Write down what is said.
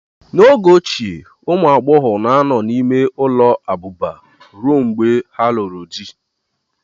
N'oge ochie, ụmụ agbọghọ na-anọ n'ime ụlọ abụba ruo mgbe ha lụrụ di